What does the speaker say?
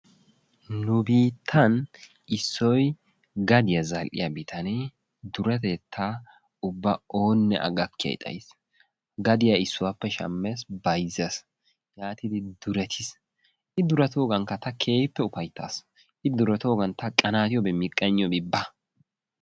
Nu biittan issoy gadiya zal'iya bitanee duretettaa ubba oone a gakkiyay xayyiis. gadiya issuwappe shammees, bayzzees yaatidi duretiis. I durettogankka ta keehippe ufaytaas, I durettoogan ta qanatiyoobi miqqayniyoobi baa.